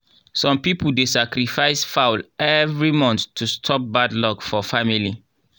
some people dey sacrifice fowl every month to stop bad luck for family.